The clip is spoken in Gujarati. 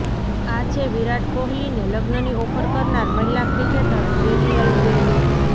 આ છે વિરાટ કોહલીને લગ્નની ઑફર કરનાર મહિલા ક્રિકેટર ડેનિયલ વેટ